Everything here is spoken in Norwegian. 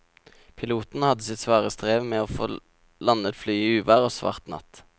Piloten hadde sitt svare strev med å få landet flyet i uvær og svart natt.